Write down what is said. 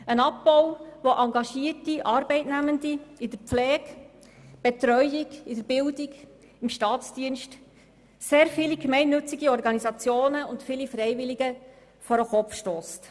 Es ist ein Abbau, der auch engagierte Arbeitnehmer in der Pflege, der Betreuung, der Bildung und im Staatsdienst betrifft und sehr viele gemeinnützige und freiwillige Organisationen vor den Kopf stösst.